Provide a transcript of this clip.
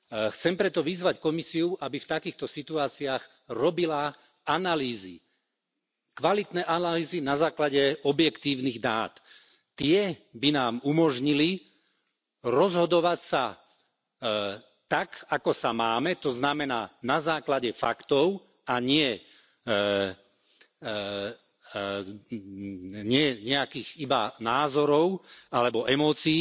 Chcem preto vyzvať Komisiu, aby v takýchto situáciách robila analýzy, kvalitné analýzy na základe objektívnych dát. Tie by nám umožnili rozhodovať sa tak, ako sa máme, tzn. na základe faktov a nie nejakých iba názorov alebo emócií,